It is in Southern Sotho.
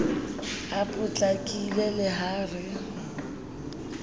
a potlakile le ha re